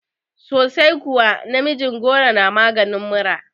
Sosai kuwa, namijin goro na maganin mura